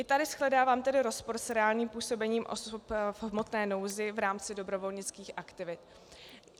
I tady shledávám tedy rozpor s reálným působením osob v hmotné nouzi v rámci dobrovolnických aktivit.